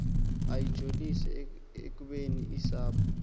lujoliswe ekubeni usapho